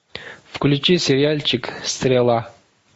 включи сериальчик стрела